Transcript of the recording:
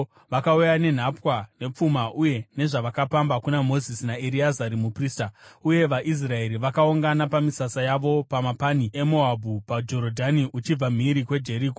vakauya nenhapwa, nepfuma uye nezvavakapamba kuna Mozisi naEreazari muprista, uye vaIsraeri vakaungana pamisasa yavo pamapani eMoabhu, paJorodhani uchibva mhiri kuJeriko.